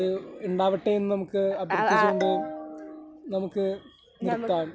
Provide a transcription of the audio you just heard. അതുണ്ടാവട്ടെ എന്ന് അഭ്യർത്ഥിച്ചു കൊണ്ട് നമുക്ക് നിർത്താം.